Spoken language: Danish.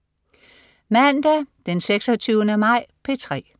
Mandag den 26. maj - P3: